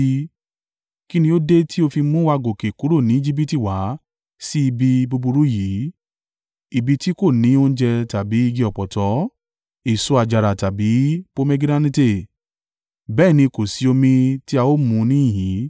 Kí ni ó dé tí o fi mú wa gòkè kúrò ní Ejibiti wá sí ibi búburú yìí? Ibi tí kò ní oúnjẹ tàbí igi ọ̀pọ̀tọ́, èso àjàrà tàbí pomegiranate. Bẹ́ẹ̀ ni kò sí omi tí a ó mu níhìn-ín!”